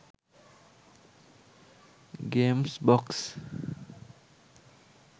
games box